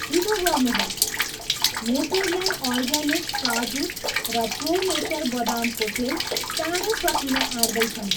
छिटो गर्नुहोस्, Natureland Organics काजु र प्रो नेचर बदामको तेल चाँडै सकिन आँट्दै छन्